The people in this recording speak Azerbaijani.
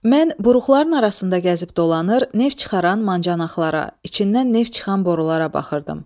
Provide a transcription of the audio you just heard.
Mən buruqların arasında gəzib dolanır, neft çıxaran mancaxlara, içindən neft çıxan borulara baxırdım.